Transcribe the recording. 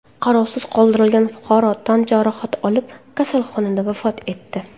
Qarovsiz qoldirilgan fuqaro tan jarohati olib, kasalxonada vafot etdi.